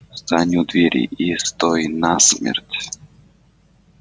встань у двери и стой насмерть